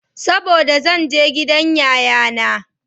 Saboda zan je gidan yayana.